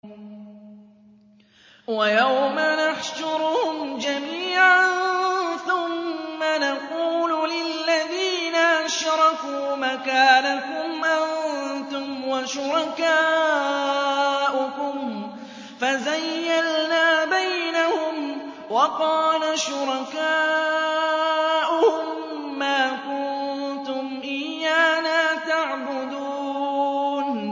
وَيَوْمَ نَحْشُرُهُمْ جَمِيعًا ثُمَّ نَقُولُ لِلَّذِينَ أَشْرَكُوا مَكَانَكُمْ أَنتُمْ وَشُرَكَاؤُكُمْ ۚ فَزَيَّلْنَا بَيْنَهُمْ ۖ وَقَالَ شُرَكَاؤُهُم مَّا كُنتُمْ إِيَّانَا تَعْبُدُونَ